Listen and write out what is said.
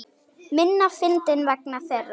Minna fyndinn vegna þeirra.